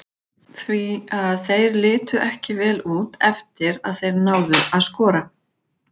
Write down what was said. Því að þeir litu ekki vel út eftir að þeir náðu að skora.